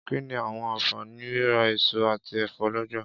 Kí ni àwọn àǹfààní rírà èso àti ẹ̀fọ́ lọ́jà.